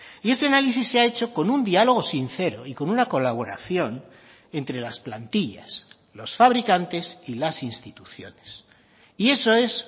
y ese análisis se ha hecho con un diálogo sincero y con una colaboración entre las plantillas los fabricantes y las instituciones y eso es